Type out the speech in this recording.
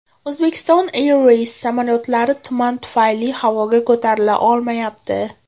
Uzbekistan Airways samolyotlari tuman tufayli havoga ko‘tarila olmayapti.